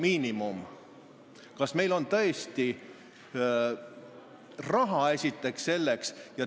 Esiteks, kas meil on selleks tõesti raha?